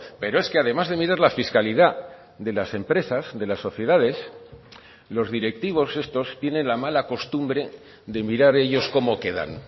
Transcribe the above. pero es que además de mirar la fiscalidad de las empresas de las sociedades los directivos estos tienen la mala costumbre de mirar ellos cómo quedan